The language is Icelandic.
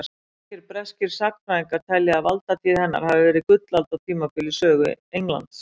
Margir breskir sagnfræðingar telja að valdatíð hennar hafi verið gullaldartímabil í sögu Englands.